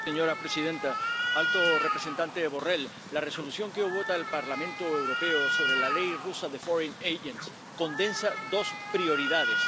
Señora presidenta, alto representante Borrell, la Resolución que hoy vota el Parlamento Europeo sobre la Ley rusa de agentes extranjeros condensa dos prioridades.